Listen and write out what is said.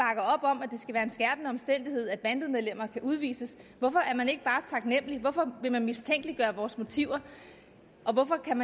er en skærpende omstændighed at bandemedlemmer kan udvises hvorfor er man ikke bare taknemlig hvorfor vil man mistænkeliggøre vores motiver og hvorfor kan